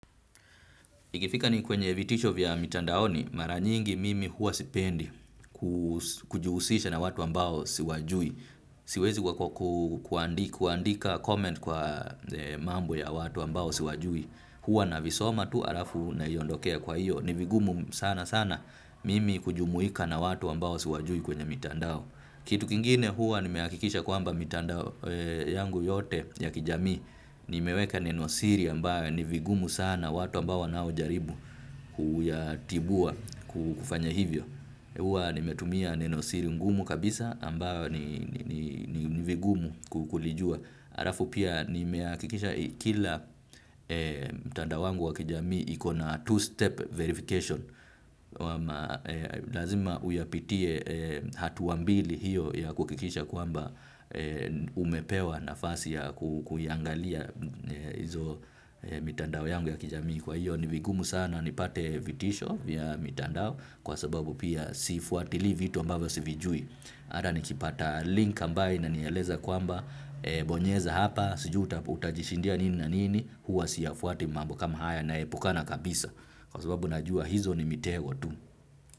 Ikifika ni kwenye vitisho vya mitandaoni, mara nyingi mimi huwa sipendi kujihusisha na watu ambao siwajui. Siwezi kwa kuandika comment kwa mambo ya watu ambao siwajui. Hua navisoma tu alafu naiondokea kwa hiyo. Ni vigumu sana sana mimi kujumuika na watu ambao siwajui kwenye mitandao. Kitu kingine huwa nimehakikisha kwamba mitandao yangu yote ya kijamii. Nimeweka neno siri ambayo ni vigumu sana watu ambao wanao jaribu kuyatibua kufanya hivyo huwa nimetumia neno siri ngumu kabisa ambayo ni vigumu kulijua alafu pia nimehakikisha kila mtandao wangu wa kijamii ikona two step verification ama lazima uyapitie hatua mbili hiyo ya kuhakikisha kwamba umepewa nafasi ya kuiangalia hizo mitandao yangu ya kijamii kwa hiyo ni vigumu sana nipate vitisho ya mitandao kwa sababu pia sifuatili vitu ambavyo sivijui hata nikipata link ambayo inanieleza kwamba bonyeza hapa sijui utajishindia nini na nini huwa siyafuati mambo kama haya naepukana kabisa kwa sababu najua hizo ni mitego watu.